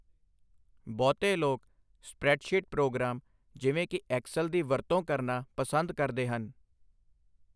ਬਹੁਤੇ ਲੋਕ spreadsheet program ਜਿਵੇਂ ਕਿ ਐਕਸਲ ਦੀ ਵਰਤੋਂ ਕਰਨਾ ਪਸੰਦ ਕਰਦੇ ਹਨ।